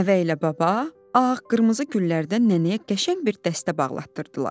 Nəvə ilə baba ağ-qırmızı güllərdən nənəyə qəşəng bir dəstə bağlatdırdılar.